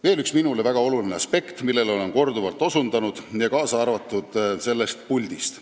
Veel üks minule väga oluline aspekt, millele olen korduvalt osutanud, ka sellest puldist.